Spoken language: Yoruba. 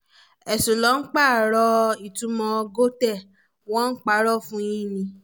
èṣù ló pààrọ̀ ìtumọ̀ gótè wọ́n ń parọ́ fún yín ni